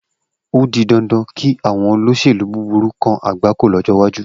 O di dandan kí àwọn olóṣèlú búburú kan àgbákò lọ́jọ́ iwájú.